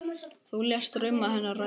Þú lést drauma hennar rætast.